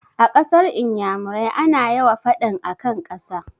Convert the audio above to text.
A kasar iyamurai ana yawa faɗan akan ƙasa